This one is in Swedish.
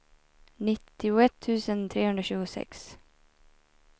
nittioett tusen trehundratjugosex